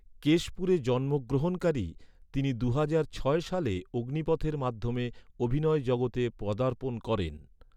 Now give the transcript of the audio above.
কেশপুরে জন্মগ্রহণকারী, তিনি দুহাজার ছয় সালে অগ্নিপথের মাধ্যমে অভিনয় জগতে পদার্পণ করেন।